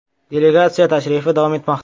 Delegatsiya tashrifi davom etmoqda.